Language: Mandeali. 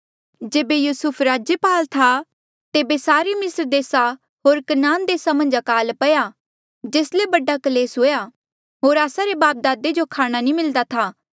जेबे युसूफ राज्यपाल था तेबे सारे मिस्र देसा होर कनान देसा मन्झ अकाल पया जेस ले बड़ा क्लेस हुएया होर आस्सा रे बापदादे जो खाणा नी मिलदा था